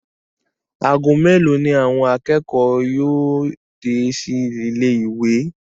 ago melo ni àwọn akẹ́kọ̀ọ́ yóò dé sí ilé ìwé?